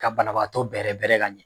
Ka banabagatɔ bɛɛrɛ bɛɛrɛ ka ɲɛ